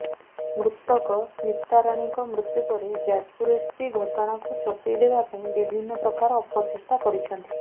ମୃତକ ସ୍ମିତାରାଣୀଙ୍କ ମୃତ୍ୟୁ ପରେ ଯାଜପୁର ଏସପି ଘଟଣାକୁ ଚପେଇ ଦେବା ପାଇଁ ବିଭିନ୍ନ ପ୍ରକାର ଅପଚେଷ୍ଟା କରିଛନ୍ତି